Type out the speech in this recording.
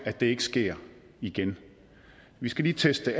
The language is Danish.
ikke sker igen vi skal lige teste